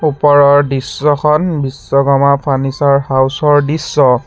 ওপৰৰ দৃশ্যখন Vishwakarma furniture house ৰ দৃশ্য।